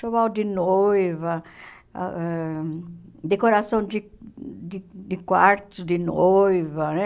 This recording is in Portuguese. Enxoval de noiva, ãh decoração de de de quartos de noiva, né?